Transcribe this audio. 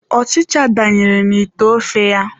Ọchịcha danyere na ite ofe ya.